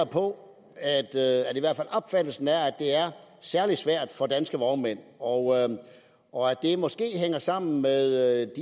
på opfattelsen af at det er særlig svært for danske vognmænd og og at det måske hænger sammen med